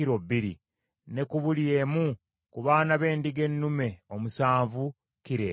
ne ku buli emu ku baana b’endiga ennume omusanvu, kilo emu.